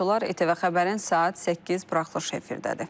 ETV Xəbərin saat 8 buraxılışı efirdədir.